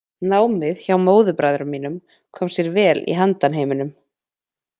Námið hjá móðurbræðrum mínum kom sér vel í handanheiminum.